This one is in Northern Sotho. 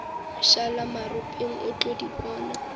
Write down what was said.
mošalamaropeng o tlo di bona